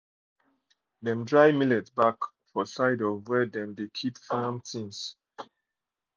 dem dry millet back for side of where dem de keep farm things